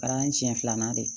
Kɛra n siɲɛ filanan de ye